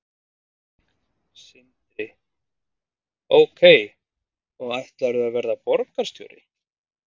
Sindri: Ok og ætlarðu að verða borgarstjóri?